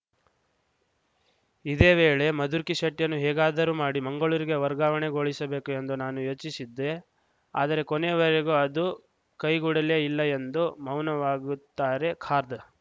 ಇದೇ ವೇಳೆ ಮಧುಕಿರ್ ಶೆಟ್ಟಿಯನ್ನು ಹೇಗಾದರೂ ಮಾಡಿ ಮಂಗಳೂರಿಗೆ ವರ್ಗಾವಣೆಗೊಳಿಸಬೇಕು ಎಂದು ನಾನು ಯೋಚಿಸಿದ್ದೆ ಆದರೆ ಕೊನೆವರೆಗೂ ಅದು ಕೈಗೂಡಲೇ ಇಲ್ಲ ಎಂದು ಮೌನವಾಗುತ್ತಾರೆ ಖಾದ